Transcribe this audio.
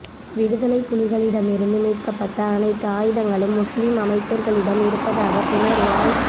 விடுதலை புலிகளிடமிருந்து மீட்கப்பட்ட அனைத்து ஆயுதங்களும் முஸ்லிம் அமைச்சர்களிடம் இருப்பதாக புனர்வாழ்